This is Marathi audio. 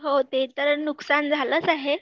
हो, ते तर नुकसान झालंच आहे